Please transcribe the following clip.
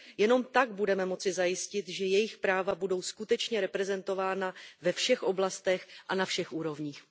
Jen tak budeme moci zajistit, že jejich práva budou skutečně reprezentována ve všech oblastech a na všech úrovních.